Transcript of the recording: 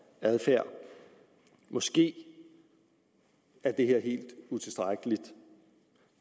adfærd måske er det helt utilstrækkeligt